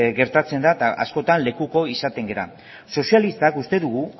gertatzen da eta askotan lekuko izaten gara sozialistek uste dugu